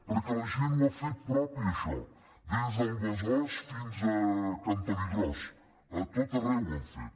perquè la gent ho ha fet propi això des del besòs fins a cantonigròs a tot arreu ho han fet